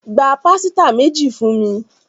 Gbà pàsìta méjì fúnmi.